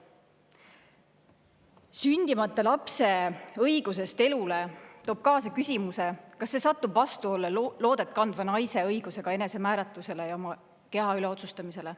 Küsimus sündimata lapse õigusest elule toob kaasa küsimuse, kas see satub vastuollu loodet kandva naise õigusega enesemääratlusele ja oma keha üle otsustamisele.